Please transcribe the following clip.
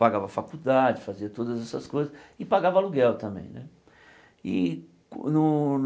Pagava faculdade, fazia todas essas coisas, e pagava aluguel também, né? E qu no